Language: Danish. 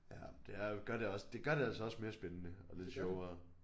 Ja det er jo gør det også det gør det altså også mere spændende og lidt sjovere